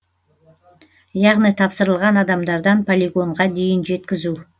яғни тапсырылған адамдардан полигонға дейін жеткізу